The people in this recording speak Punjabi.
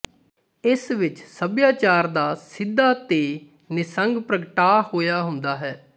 ਇਸ ਵਿੱਚ ਸਭਿਆਚਾਰ ਦਾ ਸਿੱਧਾ ਤੇ ਨਿਸੰਗ ਪ੍ਰਗਟਾ ਹੋਇਆ ਹੁੰਦਾ ਹੈ